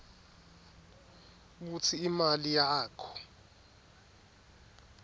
kutsi imali yakho